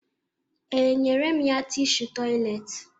Ee, enyere m ya tishu tọyịleetị